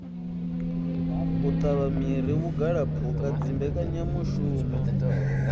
u tavha miri vhugalaphukha dzimbekanyamishumo